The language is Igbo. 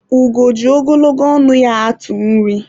ugo ji ogologo ọnụ ya atụ nri